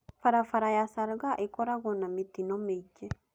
Barabara ya Salgaa ĩkoragewo na mĩtino mĩingĩ.